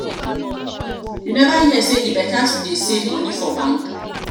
you never hear sey e beta to dey save moni for bank?